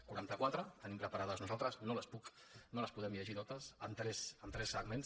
quaranta quatre en tenim preparades nosaltres no les puc no les podem llegir totes en tres segments